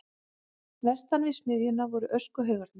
Vestan við smiðjuna voru öskuhaugarnir.